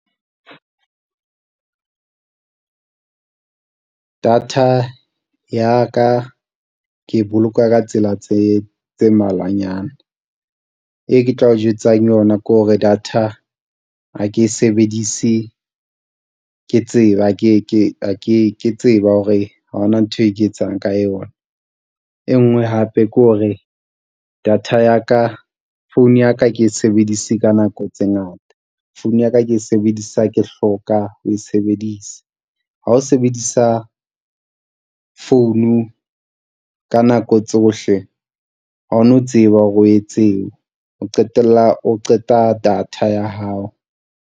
Data ya ka ke e boloka ka tsela tse tse mmalwanyana. E ke tla o jwetsang yona ke hore data ha ke e sebedise ke tseba hore ha hona ntho e ke etsang ka yona. E nngwe hape ke hore data ya ka phone ya ka ha ke e sebedise ka nako tse ngata. Phone ya ka ke e sebedisa ha ke hloka ho e sebedisa, ha o sebedisa phone-u ka nako tsohle ha o no tseba hore o etseng, o qetella o qeta data ya hao.